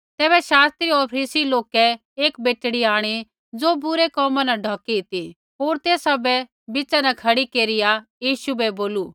तैबै शास्त्री होर फरीसियै लोकै एक बेटड़ी आंणी ज़ो बूरै कोमा न ढौकी ती होर तैसा बै बिच़ा न खड़ी केरिया यीशु बै बोलू